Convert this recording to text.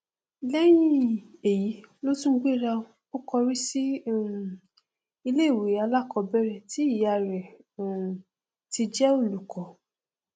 lẹhìn èyí ló tún gbéra o kọrí sí um iléìwé alákọọbẹrẹ tí ìyá rẹ um ti jẹ olùkọ